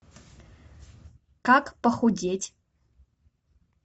как похудеть